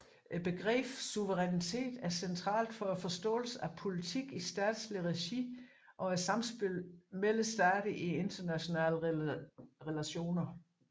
Begrebet suverænitet er centralt for forståelsen af politik i statsligt regi og samspillet mellem stater i internationale relationer